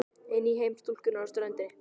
Inn í heim stúlkunnar á ströndinni.